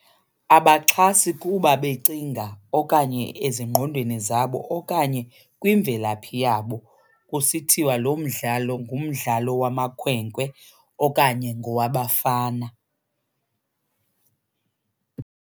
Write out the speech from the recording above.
Abaxhasi kuba becinga okanye ezingqondweni zabo okanye kwimvelaphi yabo kusithiwa lo mdlalo ngumdlalo wamakhwenkwe okanye ngowabafana.